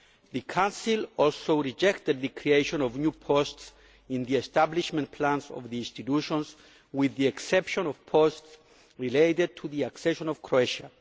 The Council also rejected the creation of new posts in the establishment plans of the institutions, with the exception of posts related to the accession of Croatia.